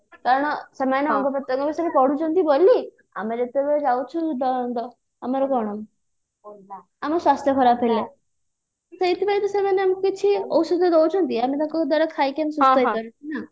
କାରଣ ସେମନେ ଅଙ୍ଗ ପ୍ରତ୍ୟଙ୍ଗ ବିଷୟରେ ପଢୁଛନ୍ତି ଆମେ ଯେତେବେଳେ ଯାଉଛୁ ଆମର କଣ ଆମ ସ୍ୱାସ୍ଥ୍ୟ ଖରାପ ହେଲେ ସେଇଥି ପାଇଁ ତ ସେମାନେ ଆମକୁ କିଛି ଔଷଧ ଦଉଛନ୍ତି ଆମେ ତାଙ୍କ ଦ୍ଵାରା ଖାଇକି ଆମେ ସୁସ୍ଥ ହେଇ ପାରୁ